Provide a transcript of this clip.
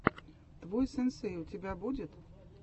твой сенсей у тебя будет